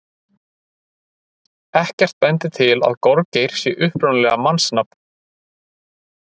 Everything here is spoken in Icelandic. Ekkert bendir til að gorgeir sé upprunalega mannsnafn.